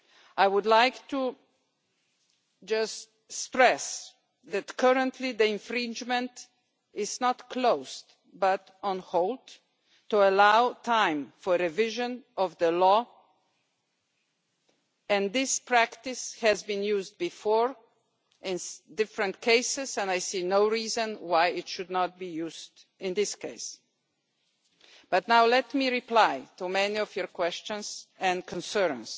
I would like just to stress that currently the infringement procedure is not closed, but on hold, to allow time for revision of the law. This practice has been used before in different cases and I see no reason why it should not be used in this case. Let me reply to some of your many questions and concerns.